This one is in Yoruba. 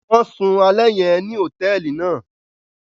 Wọn sùn alẹ yẹn ní hotẹẹli náà